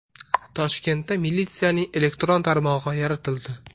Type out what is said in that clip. Toshkentda militsiyaning elektron tarmog‘i yaratildi.